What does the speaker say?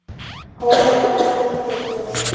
Hógværð fyllti brosið.